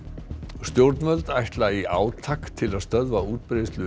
stjórnvöld ætla í átak til að stöðva útbreiðslu